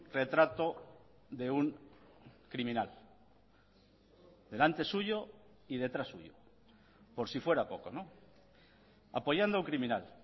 retrato de un criminal delante suyo y detrás suyo por si fuera poco apoyando a un criminal